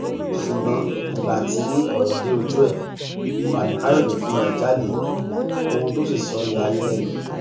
ṣùgbọn ìgbà tí ọrọ dé ojú ẹ fani káyọdé fúnra ẹ jáde ohun tó sì sọ ya ayé lẹnu